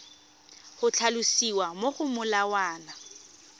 go tlhalosiwa mo go molawana